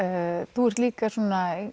þú ert líka svona